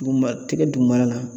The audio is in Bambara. Duguma tigɛ dugumana la.